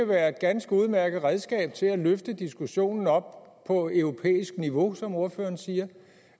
være et ganske udmærket redskab til at løfte diskussionen op på europæisk niveau som ordføreren siger